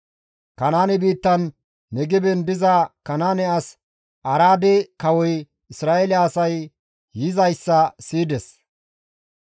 Kanaane biittan Negeben diza Kanaane as Araade kawoy Isra7eele asay yizayssa siyides.